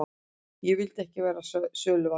Ég vildi ekki verða söluvara.